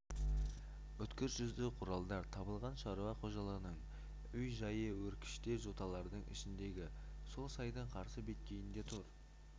өткір жүзді құралдар табылған шаруа қожалығының үй-жайы өркешті жоталардың ішіндегі сол сайдың қарсы беткейінде тұр